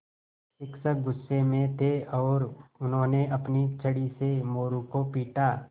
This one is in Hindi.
शिक्षक गुस्से में थे और उन्होंने अपनी छड़ी से मोरू को पीटा